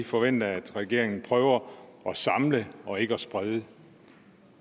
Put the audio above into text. forventer at regeringen prøver at samle og ikke at sprede